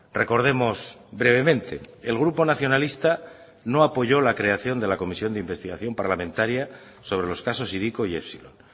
recordemos brevemente el grupo nacionalista no apoyó la creación de la comisión de investigación parlamentaria sobre los casos hiriko y epsilon